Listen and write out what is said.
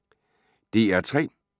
DR P3